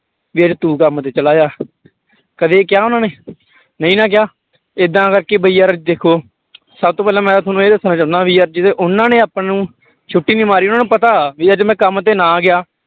ਵੀ ਅੱਜ ਤੂੰ ਕੰਮ ਤੇ ਚਲਾ ਜਾ ਕਦੇ ਕਿਹਾ ਉਹਨਾਂ ਨੇ ਨਹੀਂ ਨਾ ਕਿਹਾ ਏਦਾਂ ਕਰਕੇ ਬਈ ਯਾਰ ਦੇਖੋ ਸਭ ਤੋਂ ਪਹਿਲਾਂ ਮੈਂ ਤੁਹਾਨੂੰ ਇਹ ਦੱਸਣਾ ਚਾਹੁਨਾ ਵੀ ਯਾਰ ਜਦੋਂ ਉਹਨਾਂ ਨੇ ਆਪਾਂ ਨੂੰ ਛੁੱਟੀ ਨੀ ਮਾਰੀ, ਉਹਨਾਂ ਨੂੰ ਪਤਾ ਵੀ ਅੱਜ ਮੈਂ ਕੰਮ ਤੇ ਨਾ ਗਿਆ।